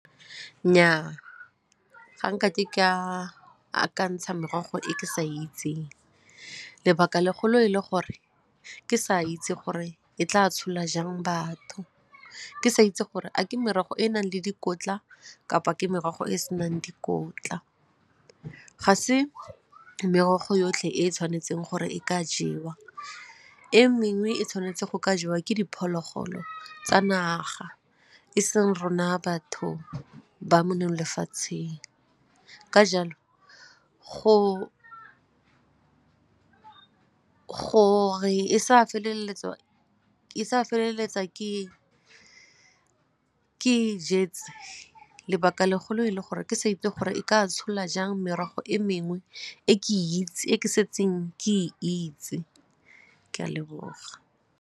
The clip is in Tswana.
Nnyaa, ga nkake ke a akantsha merogo e ke sa itseng lebaka legolo e le gore ke sa itse gore e tla tshola jang batho, ke sa itse gore a ke merogo e e nang le dikotla kapa ke merogo e e se nang dikotla. Ga se merogo yotlhe e e tshwanetseng gore e ka jewa, e mengwe e tshwanetse go ka jewa ke diphologolo tsa naga e seng rona batho ba mo neye molefatsheng ka jalo gore e sa feleletsa ke ke e jetse lebaka le golo e le gore ke sa itse gore e ka tshola jang merogo e mengwe e ke setseng ke e itse, ke a leboga.